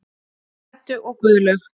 Eddu og Guðlaug.